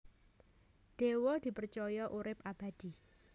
Dewa dipercaya urip abadi